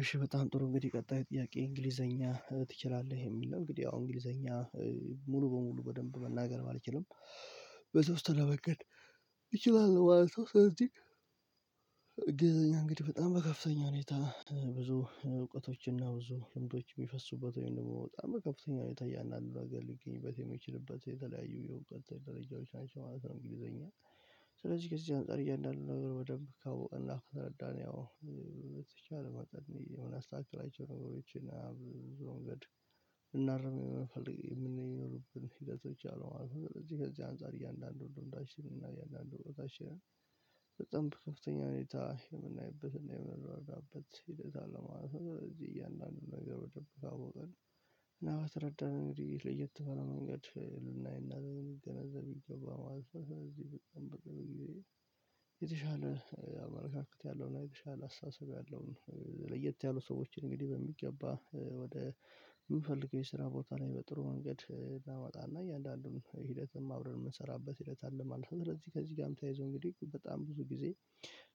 እሺ በጣም ጥሩ እንግዲህ ቀጣይ ጥያቄ እንግሊዘኛ ትችላለህ የሚል ነው። እንግዲህ ያው እንግሊዘኛ ሙሉ በሙሉ በደንብ መናገር ባልችልም በተወሰነ መንገድ እችላለው ማለት ነው። ስለዚህ እንግሊዘኛ እንግዲህ በጣም በከፍተኛ ሁኔታ ብዙ እውቀቶችና ብዙ ልምዶች የሚፈሱበት ወይም ደግሞ በጣም በከፍተኛ ሁኔታ እያንዳንዱ ነገር ሊገኝበት የሚችልበት የተለያዩ የእውቀት ደረጃዎች ናቸው ማለት ነው። እንግሊዘኛ ስለዚህ ከዚህ አንፃር እያንዳንዱ ነገር በደንብ ካወቅንና ከተረዳን ያው በተቻለ መጠን የምናስተካክላቸው ነገሮችና በብዙ መንገድ ልናርም የምንፈልግ የምንኖሩብን ሂደቶች አሉ ማለት ነው። ከዚህ ከዚህ አንፃር እያንዳንዱ እንዳሽልና እያንዳንዱ ቦታ ሼር በጣም በከፍተኛ ሁኔታ። ነገሮችን ካወቅን እና ከተረዳን እንግዲህ ለየት ባለ መንገድ ልናይና ልንገነዘብ ይገባል ማለት ነው። ስለዚህ በጣም ብዙ ጊዜ የተሻለ አመለካከት ያለውና የተሻለ አስተሳሰብ ያለውን ለየት ያሉ ሰዎችን እንግዲህ በሚገባ ወደ የምፈልገው የስራ ቦታ ላይ በጥሩ መንገድ እናመጣና እያንዳንዱን ሂደትም አብረን የምንሰራበት ሂደት አለ ማለት ነው። ከዚህ ከዚህ ጋር ተያይዞ እንግዲህ በጣም ብዙ ጊዜ